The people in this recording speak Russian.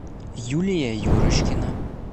юлия юрочкина